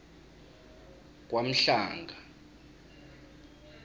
kwamhlanga